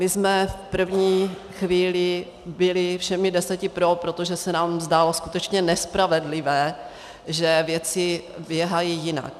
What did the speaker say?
My jsme v první chvíli byli všemi deseti pro, protože se nám zdálo skutečně nespravedlivé, že věci běhají jinak.